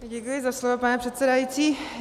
Děkuji za slovo, pane předsedající.